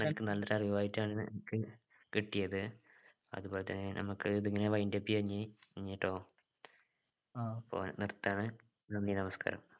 എനിക്ക് നല്ലൊരു അറിവായിട്ടാണിത് ക് കിട്ടിയത് അതുപോലെ തന്നെ നമുക്ക് ഇത് ഇങ്ങനെ wind up ചെയ്യാ ഇനി ഇനിട്ടോ പ്പോ നിർത്തുവാണു നന്ദി നമസ്കാരം